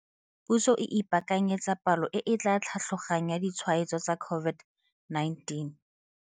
Puso e ipakanyetsa palo e etla tlhatlogang ya ditshwaetso tsa COVID-19.